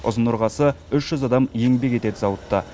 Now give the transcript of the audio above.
ұзын ырғасы үш жүз адам еңбек етеді зауытта